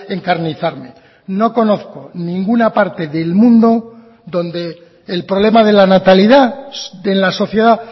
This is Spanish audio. encarnizarme no conozco ninguna parte del mundo donde el problema de la natalidad en la sociedad